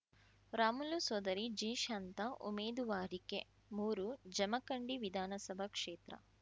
ರಾಮುಲು ಸೋದರಿ ಜಿಶಾಂತಾ ಉಮೇದುವಾರಿಕೆ ಮೂರು ಜಮಖಂಡಿ ವಿಧಾನಸಭಾ ಕ್ಷೇತ್ರ